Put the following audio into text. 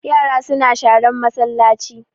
Yara suna sharan masallaci